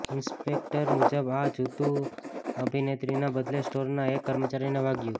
inspector મુજબ આ જૂતું અભિનેત્રીના બદલે સ્ટોરના એક કર્મચારીને વાગ્યું